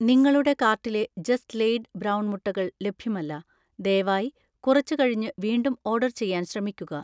നിങ്ങളുടെ കാർട്ടിലെ just laid brown മുട്ടകൾ ലഭ്യമല്ല, ദയവായി കുറച്ചു കഴിഞ്ഞുവീണ്ടും ഓർഡർ ചെയ്യാൻ ശ്രമിക്കുക.